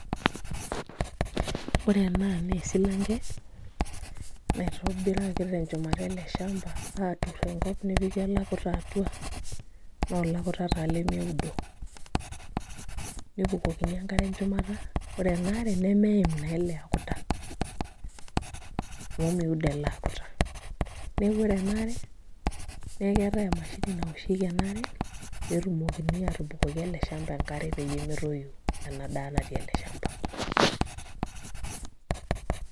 Ore ena naa esilanke naitobiraki tenchumata ele shamba aaturoki enkop nepiki alakuta atua naa olakuta taa lemeudo nebukokini enkare enchumata ore ena are nemeeim naa ele akuta amu meudo naa ele akuta neeku ore ena are naa keetai emashini naoshieki ena are pee etumokini aatubukoki ele shamba enkare peyie metoyu ena daa natii ele shamba.